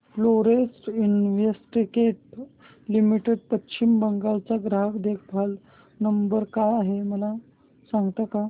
Florence Investec limited Paschim Bengal चा ग्राहक देखभाल नंबर काय आहे मला सांगता का